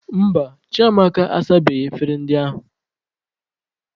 Mba, Chiamaka asabeghị efere ndị ahụ.